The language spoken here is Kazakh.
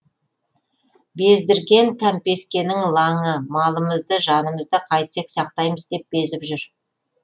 бездірген кәмпескенің лаңы малымызды жанымызды қайтсек сақтаймыз деп безіп жүр